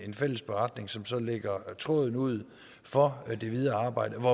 en fælles beretning som så lægger tråden ud for det videre arbejde